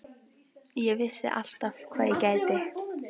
Ég vissi alltaf hvað ég gæti.